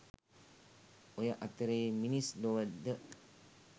ඔය අතරේ මිනිස් ලොව ද